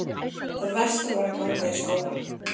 Það versta var að ganga í skólann.